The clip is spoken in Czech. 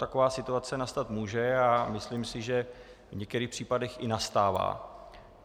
Taková situace nastat může a myslím si, že v některých případech i nastává.